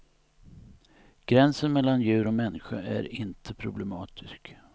Gränsen mellan djur och människa är inte problematisk.